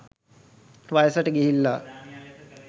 වයසට ගිහිල්ලා